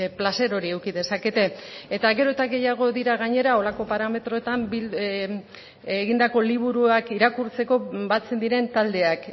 plazer hori eduki dezakete eta gero eta gehiago dira gainera holako parametroetan egindako liburuak irakurtzeko batzen diren taldeak